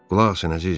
Qulaq asın, əzizim.